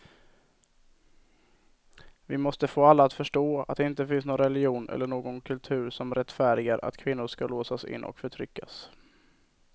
Vi måste få alla att förstå att det inte finns någon religion eller någon kultur som rättfärdigar att kvinnor ska låsas in och förtryckas.